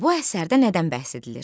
Bu əsərdə nədən bəhs edilir?